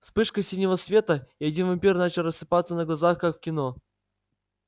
вспышка синего света и один вампир начал рассыпаться на глазах как в кино